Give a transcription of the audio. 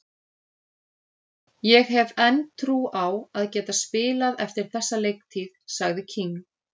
Ég hef enn trú á að geta spilað eftir þessa leiktíð, sagði King.